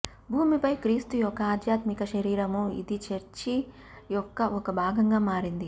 భూమిపై క్రీస్తు యొక్క ఆధ్యాత్మిక శరీరము ఇది చర్చి యొక్క ఒక భాగంగా మారింది